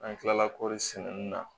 An kilala kɔri sɛnɛni na